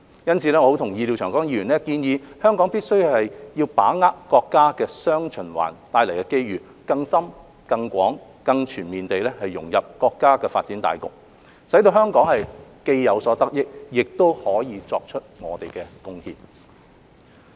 因此，我很同意廖長江議員建議香港必須把握國家"雙循環"帶來的機遇，更深、更廣、更全面地融入國家的發展大局，使香港既有所得益，亦可以作出貢獻。